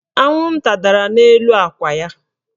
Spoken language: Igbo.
Anwụnta dara n'elu akwa ya.